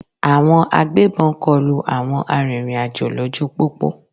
Àwọn agbébọn kọlu àwọn arìnrìn-àjò lójú pópó.